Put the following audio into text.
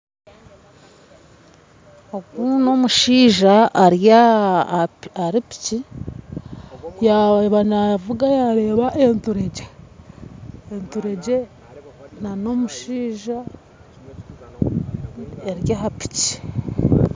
Ogu n'omushaija ari ahari piiki yaaba navuga yareeba enturegye enturegye n'omushaija eri aha piiki.